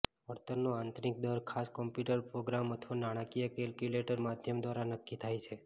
વળતરનો આંતરિક દર ખાસ કોમ્પ્યુટર પ્રોગ્રામ અથવા નાણાકીય કેલ્ક્યુલેટર માધ્યમ દ્વારા નક્કી થાય છે